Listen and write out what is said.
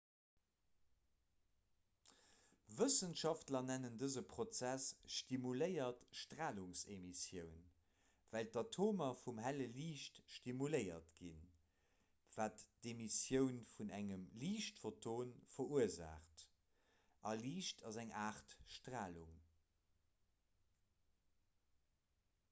wëssenschaftler nennen dëse prozess stimuléiert stralungsemissioun well d'atomer vum helle liicht stimuléiert ginn wat d'emissioun vun engem liichtphoton verursaacht a liicht ass eng aart stralung